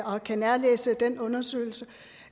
og kan nærlæse den undersøgelse